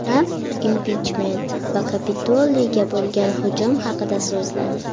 Tramp impichment va Kapitoliyga bo‘lgan hujum haqida so‘zladi.